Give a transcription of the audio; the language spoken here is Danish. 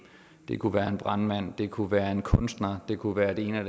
det kunne være en brandmand det kunne være en kunstner det kunne være det ene og